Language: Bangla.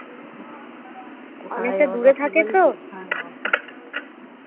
অনেকটা দূরে থাকে তো